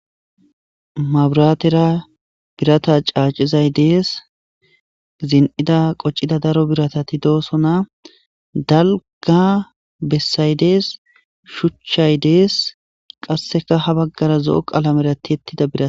Maburatera birata caacizay dees zin'ida qoccida daro biratati doosona dalga bessaydees shuchchay dees qasseka ha baggara zo'o qalamerathettida bira.